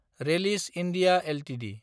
Ryle's India Ltd